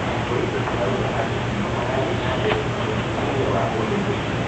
Borithi marauga atĩ no marathiĩ na mbere na ũthuthuria wa ũndũ ũcio.